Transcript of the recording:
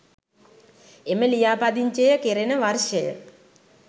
එම ලියාපදිංචිය කෙරෙන වර්ෂය